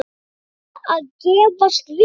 Er það að gefast vel?